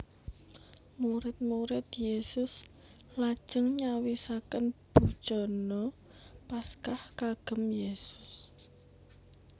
Murid murid Yesus lajeng nyawisaken bujana Paskah kagem Yesus